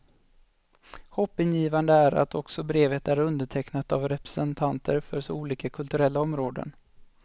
Hoppingivande är att också brevet är undertecknat av representanter för så olika kulturella områden.